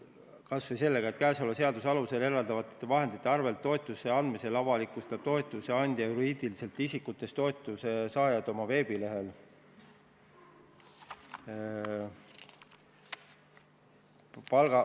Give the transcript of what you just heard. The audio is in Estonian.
Kas või see punkt: "Käesoleva seaduse alusel eraldatavate vahendite arvelt toetuste andmisel avalikustab toetuse andja juriidilistest isikutest toetuse saajad oma veebilehel.